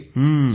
होय